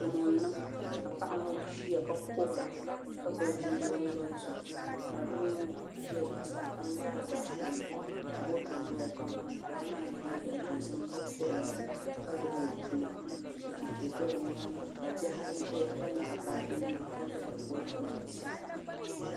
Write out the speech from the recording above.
Gamo n niŋ ka paɣa ŋo ʒiya ka kuhura ka gbubi bia o naba zuɣu ka doo ŋo ʒɛ zuɣusaa ka ŋmaariba foon ni ka moto doya ka ŋunbala maa yɛ liiga dozim ka kuriya ka gbubi o puli ka chɛchɛ do bi nyaanga ka bihi ayi ʒɛya ka nyaɣi baaji nima ka bolfu bu bi zuɣusaa